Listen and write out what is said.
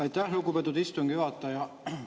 Aitäh, lugupeetud istungi juhataja!